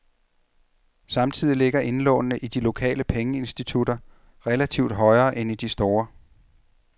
Samtidig ligger indlånene i de lokale pengeinstitutter relativt højere end i de store.